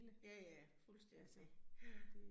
Ja ja, fuldstændig ja